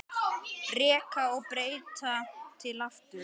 Reka og breyta til aftur?